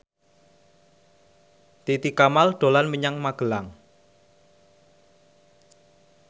Titi Kamal dolan menyang Magelang